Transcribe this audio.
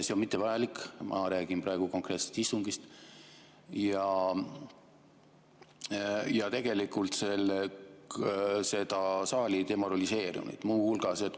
See on mittevajalik, ma räägin praegu konkreetselt istungist, ja see on tegelikult seda saali demoraliseerinud.